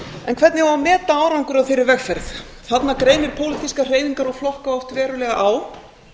en hvernig á að meta árangur af þeirri vegferð þarna greinir pólitískar hreyfingar og flokka oft verulega á